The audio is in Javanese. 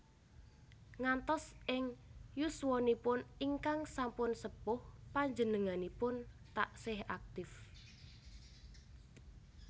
Ngantos ing yuswanipun ingkang sampun sepuh panjenenganipun taksih aktif